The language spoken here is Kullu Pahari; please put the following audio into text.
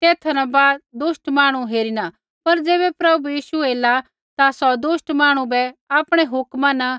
तेथा न बाद दुष्ट मांहणु हेरिणा पर ज़ैबै प्रभु यीशु ऐला ता सौ दुष्ट मांहणु बै आपणै हुक्मा न